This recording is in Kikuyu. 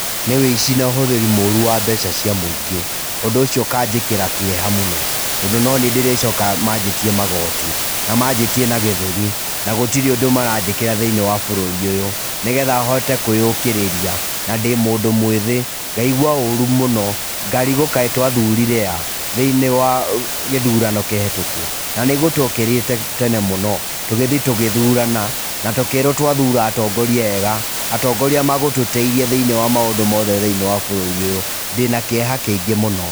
Nĩ wĩici na ũhũthĩri mũru wa mbeca cia mũingĩ. Ũndũ ũcio ũkanjĩkĩra kĩeha mũno, tondũ no niĩ ndĩrĩcoka manjĩtie magoti, na manjĩtie na gĩthũri, na gũtirĩ ũndũ maranjĩkĩra thĩinĩ wa bũrũri ũyũ, nĩgetha hote kũĩũkĩrĩria, na ndĩ mũndũ mũĩthĩ, ngaigua ũrũ mũno. Ngarigwo kaĩ twathurire a, thĩinĩ wa gĩthurano kĩhĩtũku? Na nĩguo twokĩrĩte tene mũno. Tũgĩthiĩ tũgĩthurana, na tũkĩrwo twathura atongoria ega. Atongoria magũtũteithia thĩinĩ wa maũndũ mothe thĩinĩ wa bũrũri ũyũ. Ndĩna kĩeha kĩingĩ mũno.